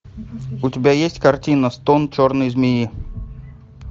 у тебя есть картина стон черной змеи